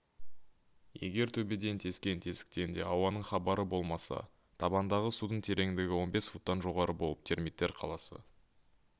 егер төбеден тескен тесіктен де ауаның хабары болмаса табандағы судың тереңдігі он бес футтан жоғары болып термиттер қаласы